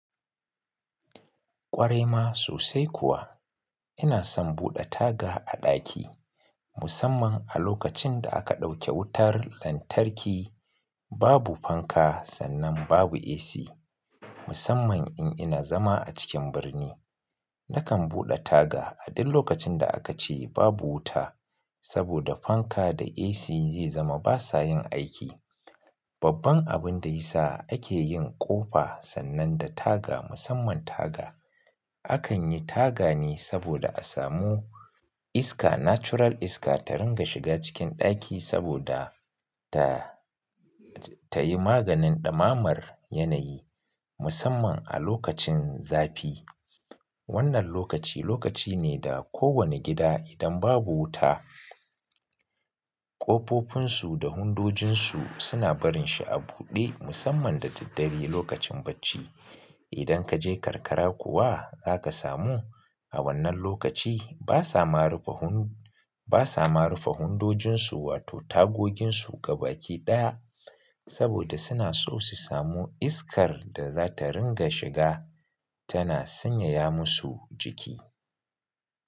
Ƙware ma sosai kuwa. Ina son buɗe taga a ɗaki musamman a lokacin da aka ɗauke wutar lantarki, babu fanka sannan babu AC. Musamman in ina zama a cikin birni, nakan buɗe taga a duk lokacin da aka ce babu wuta saboda fanka da AC zai zama ba sa yin aiki. Babban abin da ya sa ake yin ƙofa sannan da taga musamman taga, akan yi taga ne saboda a samu iska, natural iska ta ringa shiga cikin ɗaki saboda ta, ta yi maganin ɗamamar yanayi musamman a lokacin zafi. Wannan lokaci, lokaci ne da kowane gida idan babu wuta, ƙofofinsu da hundojinsu suna barin shi a buɗe musamman da daddare lokacin bacci. Idan kaje karkara kuwa zaka samu a wannan lokaci ba sa marufe hunu, ba sa marufe hundojinsu wato tagoginsu gabaɗaya saboda suna so su samu iskar da za ta ringa shiga tana sanyaya musu jiki.